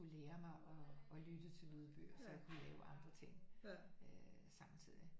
Lære mig at lytte til lydbøger så jeg kunne lave andre ting øh samtidigt